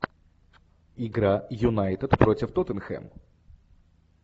игра юнайтед против тоттенхэм